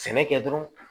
Sɛnɛ kɛ dɔrɔn